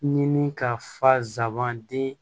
Ɲini ka fasaban di